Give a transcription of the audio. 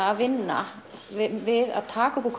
að vinna við að taka upp úr